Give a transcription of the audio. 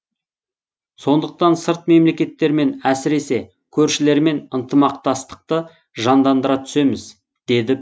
сондықтан сырт мемлекеттермен әсіресе көршілермен ынтымақтастықты жандандыра түсеміз деді президент